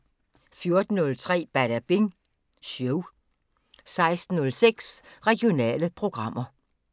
14:03: Badabing Show 16:06: Regionale programmer